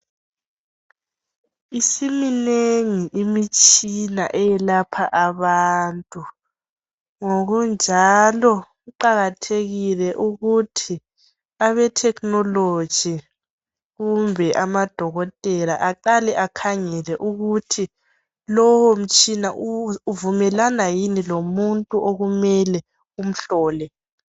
Isiminengi imitshina eyelapha abantu ngokunjalo, kuqakathekile ukuthi abe technology kumbe amadokotela eqale ekhangele ukuthi lowo mtshina uvumelana lomuntu yini okumele umhlole.